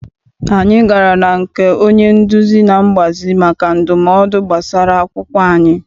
Anyị gara na nke onye nduzi na mgbazi maka ndumodu gbasara akwụkwọ anyị.